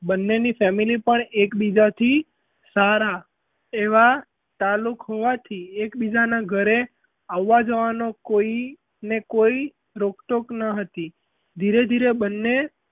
બન્નેની family પણ સારા એવાં તાલુક હોવાથી એક - બીજાનાં ઘરે આવવા જવાનો કોઈ ને કોઈ રોક - ટોક ન હતી ધીરે ધીરે બન્ને,